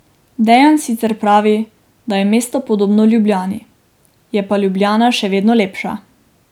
Dejan sicer pravi, da je mesto podobno Ljubljani, je pa Ljubljana še vedno lepša.